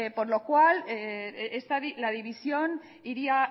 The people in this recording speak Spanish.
por lo cual la división iría